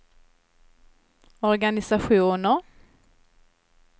organisationer